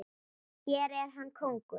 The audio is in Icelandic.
Hér er hann kóngur.